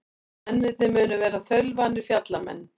Mennirnir munu vera þaulvanir fjallamenn